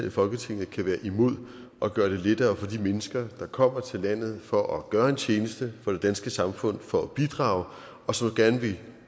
i folketinget kan være imod at gøre det lettere for de mennesker der kommer til landet for at gøre en tjeneste for det danske samfund og for at bidrage og som gerne vil